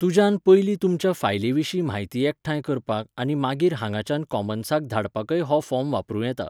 तुज्यान पयलीं तुमच्या फायलीविशीं म्हायती एकठांय करपाक आनी मागीर हांगाच्यान कॉमन्साक धाडपाकय हो फॉर्म वापरूं येता.